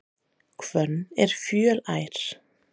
Hvönn er fjölær.